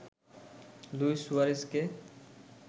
Luis সুয়ারেজকে